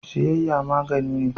Siyayya magani ne.